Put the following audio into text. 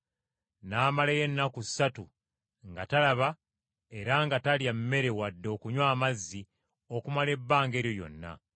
N’amalayo ennaku ssatu nga talaba era nga talya mmere wadde okunywa amazzi okumala ebbanga eryo lyonna.